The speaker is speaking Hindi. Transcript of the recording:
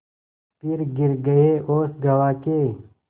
फिर गिर गये होश गँवा के